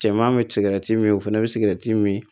Cɛman bɛ sigɛrɛti min o fana bɛ sigɛrɛti min